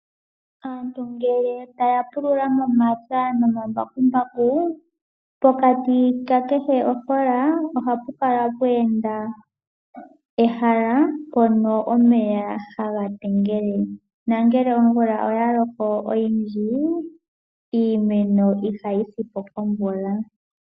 Aantu ngele taya pulula momapya noma mbakumbaku pokati ka kehe ofola/oshilwa ohapu kala pweenda ehala mpono omeya haga tengele nangele omvula oya loko oyindji, iimeno ihayi si po komeya.